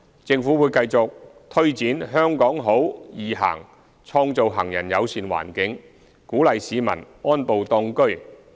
政府會繼續推展"香港好.易行"，創造行人友善環境，鼓勵市民安步當車。